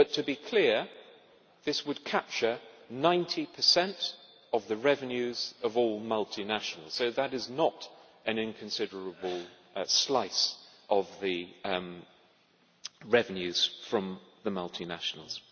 But to be clear this would capture 90 of the revenues of all multinationals, so that is not an inconsiderable slice of the revenues from the multinationals.